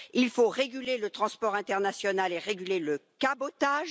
Il faut réguler le transport international et réguler le cabotage.